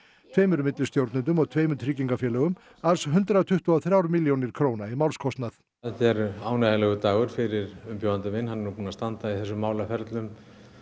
tveimur millistjórnendum og tveimur tryggingafélögum alls hundrað tuttugu og þrjár milljónir króna í málskostnað þetta er ánægjulegur dagur fyrir umbjóðanda minn hann er nú búinn að standa í þessum málaferlum